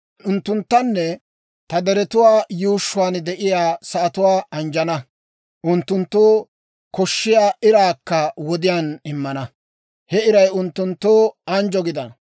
Unttunttanne ta deriyaa yuushshuwaan de'iyaa sa'atuwaa anjjana. Unttunttoo koshshiyaa iraakka wodiyaan immana; he iray unttunttoo anjjo gidana.